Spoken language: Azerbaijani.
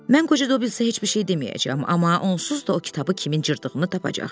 Mən qoca Dobbinsə heç bir şey deməyəcəyəm, amma onsuz da o kitabı kimin cırdığını tapacaq.